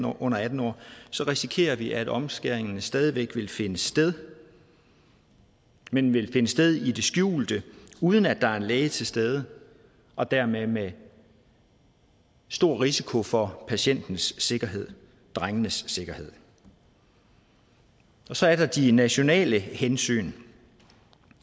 under atten år så risikerer vi at omskæring stadig væk vil finde sted men vil finde sted i det skjulte uden at der er en læge til stede og dermed med stor risiko for patientens sikkerhed drengenes sikkerhed og så er der de nationale hensyn